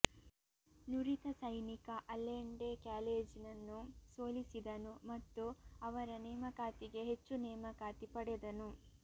ನುರಿತ ಸೈನಿಕ ಅಲ್ಲೆಂಡೆ ಕ್ಯಾಲೆಜೆನನ್ನು ಸೋಲಿಸಿದನು ಮತ್ತು ಅವರ ನೇಮಕಾತಿಗೆ ಹೆಚ್ಚು ನೇಮಕಾತಿ ಪಡೆದನು